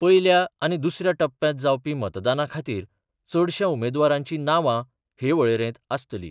पयल्या आनी दुसऱ्या टप्प्यांत जावपी मतदाना खातीर चडश्या उमेदवारांची नावां हे वळेरेंत आसतलीं.